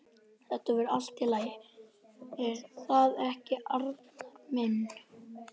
Þetta verður allt í lagi, er það ekki, Arnar minn?